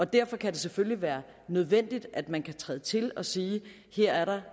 derfor kan det selvfølgelig være nødvendigt at man kan træde til og sige at her er der